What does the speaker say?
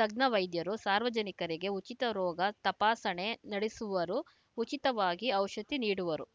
ತಜ್ಞವೈದ್ಯರು ಸಾರ್ವಜನಿಕರಿಗೆ ಉಚಿತ ರೋಗ ತಪಾಸಣೆ ನಡೆಸುವರು ಉಚಿತವಾಗಿ ಔಷಧಿ ನೀಡುವರು